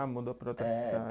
Ah, mudou para outra cidade.